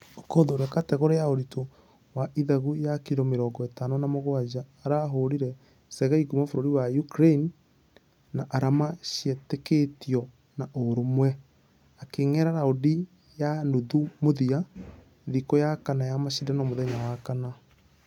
Okoth ũrĩa .....kategore ya ũritũ wa ithagu ya kiro mĩrongo ĩtano na mũgwaja arahũrire sergei kuuma bũrũri wa Ukraine na arama cietekĩtio na ũrũmwe. Akĩingera raundi ya nuthu mũthia thikũya kana ya mashidano mũthenya wa wakana.